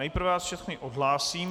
Nejprve vás všechny odhlásím.